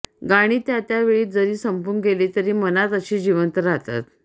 गाणी त्या त्या वेळी जरी संपून गेली तरी मनात अशी जिवंत राहतात